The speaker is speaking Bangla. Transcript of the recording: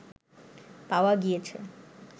পাওয়া গিয়েছে